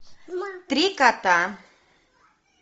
три кота